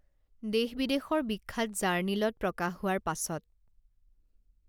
দেশ বিদেশৰ বিখ্যাত জাৰ্ণিলত প্ৰকাশ হোৱাৰ পাছত